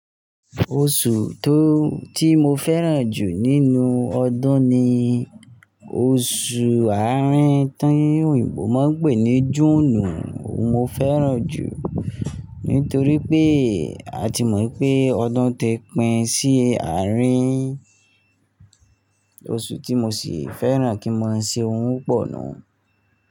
Oṣù tó tí mo fẹ́ràn jù nínú ọdún ni oṣù Àárín tí òyìnbó máa ń pè ní June. Mo fẹ́ràn jù nítorí pé a ti mọ̀ pé ọdún ti pín sí àárín, oṣù tí mo sì fẹ́ràn kí n máa ṣe ohun pọ̀ nu.